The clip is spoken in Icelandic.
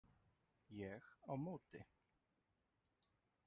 Ég á móti.